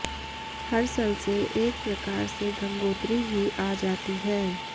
हरसलसे एक प्रकार से गंगोत्री ही आ जाती है